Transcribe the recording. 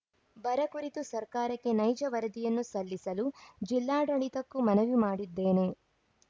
ಬರ ಕುರಿತು ಸರ್ಕಾರಕ್ಕೆ ನೈಜ ವರದಿಯನ್ನು ಸಲ್ಲಿಸಲು ಜಿಲ್ಲಾಡಳಿತಕ್ಕೂ ಮನವಿ ಮಾಡಿದ್ದೇನೆ